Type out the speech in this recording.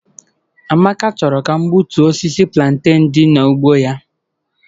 Amaka chọrọ ka m gbutuo osisi plantain dị n'ugbo ya.